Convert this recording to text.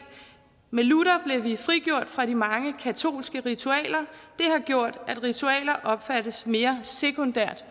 med luther blev vi frigjort fra de mange katolske ritualer opfattes mere sekundært